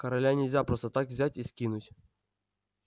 короля нельзя просто так взять и скинуть